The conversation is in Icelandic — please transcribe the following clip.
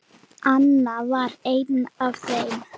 Anna var ein af þeim.